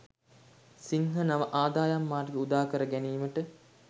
සිංහ නව ආදායම් මාර්ග උදාකර ගැනීමට